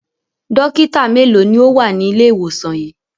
Dọ́kítá mélòó ni ó wà ní ilé-ìwòsàn yìí?